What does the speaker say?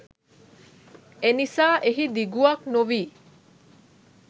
එනිසා එහි දිගුවක් නොවී